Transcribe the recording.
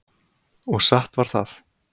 Og satt var það.